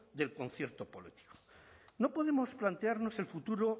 del concierto político no podemos plantearnos el futuro